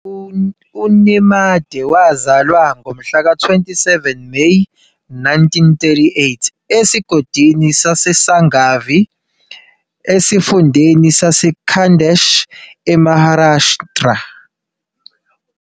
UNemade wazalwa ngomhlaka 27 Meyi 1938 esigodini saseSangavi esifundeni saseKhandesh eMaharashtra.